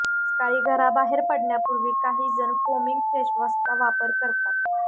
सकाळी घराबाहेर पडण्यापूर्वी काही जण फोमिंग फेसवॉशचा वापर करतात